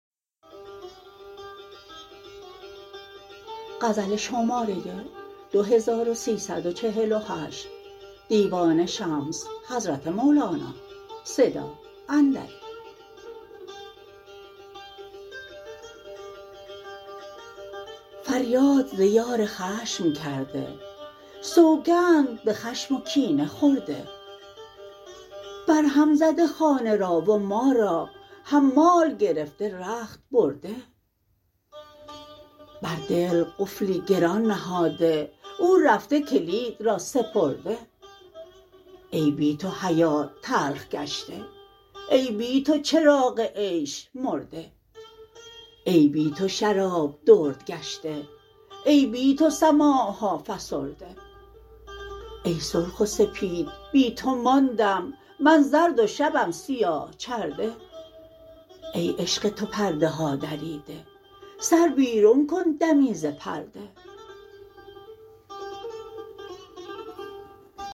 فریاد ز یار خشم کرده سوگند به خشم و کینه خورده برهم زده خانه را و ما را حمال گرفته رخت برده بر دل قفلی گران نهاده او رفته کلید را سپرده ای بی تو حیات تلخ گشته ای بی تو چراغ عیش مرده ای بی تو شراب درد گشته ای بی تو سماع ها فسرده ای سرخ و سپید بی تو ماندم من زرد و شبم سیاه چرده ای عشق تو پرده ها دریده سر بیرون کن دمی ز پرده